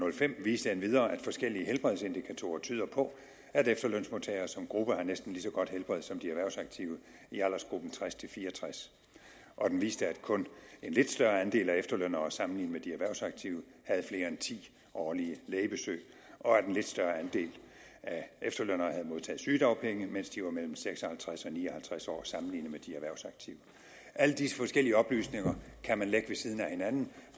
og fem viste endvidere at forskellige helbredsindikatorer tyder på at efterlønsmodtagere som gruppe har et næsten lige så godt helbred som de erhvervsaktive i aldersgruppen tres til fire og tres og den viste at kun en lidt større andel af efterlønnere sammenlignet med de erhvervsaktive havde flere end ti årlige lægebesøg og at en lidt større andel af efterlønnere havde modtaget sygedagpenge mens de var mellem seks og halvtreds og ni og halvtreds år sammenlignet med de erhvervsaktive alle disse forskellige oplysninger kan man lægge ved siden af hinanden